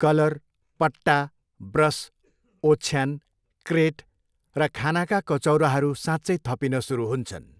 Colour, पट्टा, brush, ओछ्यान, crate, र खानाका कचौराहरू साँच्चै थपिन सुरु हुन्छन्।